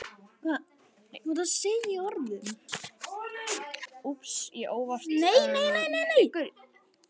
Elsku afi Kiddi.